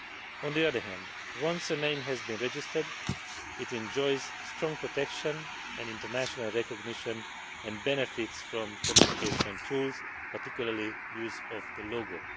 On the other hand, once a name has been registered, it enjoys strong protection and international recognition and benefits from communication tools, particularly use of the logo.